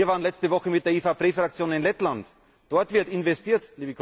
Wir waren letzte Woche mit der EVP Fraktion in Lettland auch dort wird investiert!